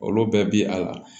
Olu bɛɛ bi a la